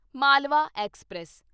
Malwa express